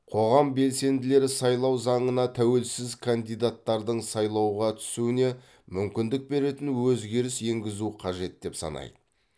қоғам белсенділері сайлау заңына тәуелсіз кандидаттардың сайлауға түсуіне мүмкіндік беретін өзгеріс енгізу қажет деп санайды